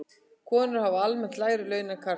Konur hafa almennt lægri laun en karlar.